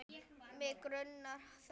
Mig grunar það.